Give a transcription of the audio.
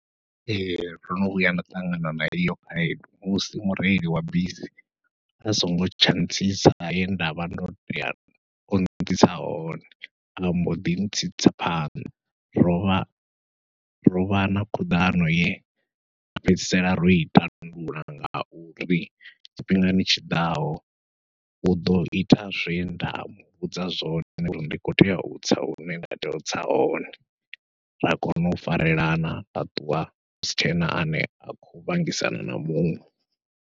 Ee ndo no vhuya nda ṱangana na eyo khaedu, musi mureili wa bisi a songo tsha ntsisa he ndavha ndo tea ontsitsa hone amboḓi ntsitsa phanḓa, rovha rovha na khuḓano ye ra fhedzisela ro i tandulula ngauri tshifhingani tshiḓaho uḓo ita zwenda muvhudza zwone uri ndi khou tea utsa hune nda tea utsa hone ra kona u farelana ra ṱuwa husi tshena ane a khou vhangisana na muṅwe.